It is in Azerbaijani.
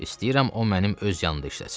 İstəyirəm o mənim öz yanımda işləsin.